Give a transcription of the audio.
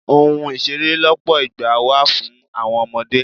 Ohun ìṣeré lọpọ ìgbà wà fún àwọn ọmọdé.